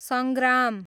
सङ्ग्राम